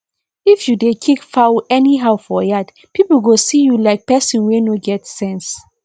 if you dey kick fowl anyhow for yard people go see you like person wey no get sense